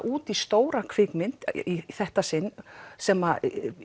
út í stóra kvikmynd í þetta sinn sem